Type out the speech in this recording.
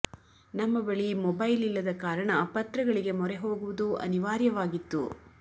ನಮ್ಮ ಬಳಿ ಮೊಬೈಲ್ ಇಲ್ಲದ ಕಾರಣ ಪತ್ರಗಳಿಗೆ ಮೊರೆ ಹೋಗುವುದು ಅನಿವಾರ್ಯವಾಗಿತ್ತು